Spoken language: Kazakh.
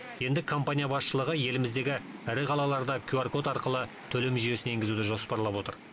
енді компания басшылығы еліміздегі ірі қалаларда кюар код арқылы төлем жүйесін енгізуді жоспарлап отыр